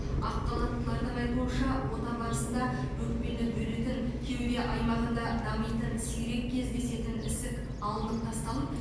ақ халаттылардың айтуынша ота барысында өкпені бөлетін кеуде аймағында дамитын сирек кездесетін ісік алынып тасталып